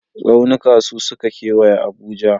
Tsaunuka su suka kewaye Abuja.